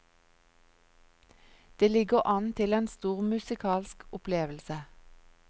Det ligger an til en stor musikalsk opplevelse.